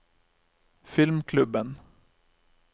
filmklubben